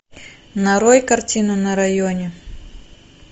нарой картину на районе